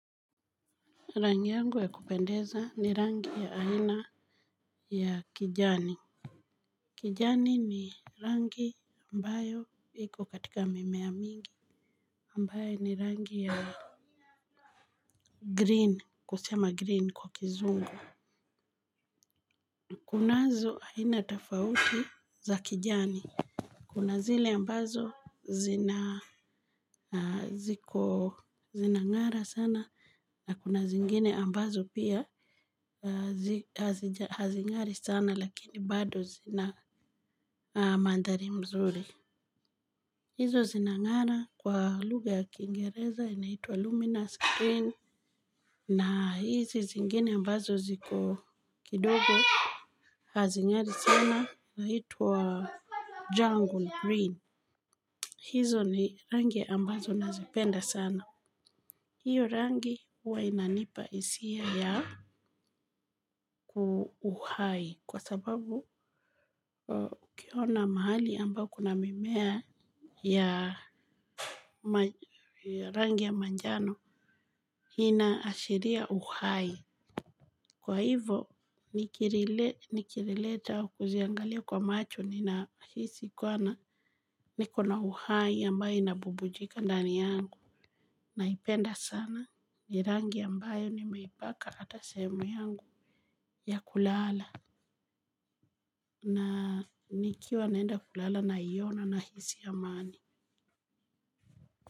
Rangi yangu ya kupendeza ni rangi ya aina ya kijani. Kijani ni rangi ambayo iko katika mimea mingi. Ambayo ni rangi ya green, kusema green kwa kizungu. Kunazo aina tofauti za kijani. Kuna zile ambazo zinang'ara sana na kuna zingine ambazo pia hazing'ari sana lakini bado zina mandhari mzuri. Hizo zinang'ara kwa lugha ya kingereza inaitwa luminous green na hizi zingine ambazo ziko kidogo hazing'ari sana zinaitwa jungle green. Hizo ni rangi ambazo nazipenda sana. Hiyo rangi huwa inanipa hisia ya uhai. Kwa sababu, ukiona mahali ambao kuna mimea ya rangi ya manjano. Ina ashiria uhai. Kwa hivo, nikilileta au kuziangalia kwa macho ninahisi kuwa na nikona uhai ambayo inabubujika ndani yangu. Naipenda sana ni rangi ambayo nimeipaka hata sehemu yangu ya kulala. Na nikiwa naenda kulala naiona nahisi amani.